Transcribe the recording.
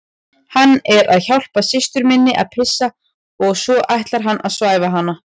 Hann er að hjálpa systur minni að pissa og svo ætlar hann að svæfa hana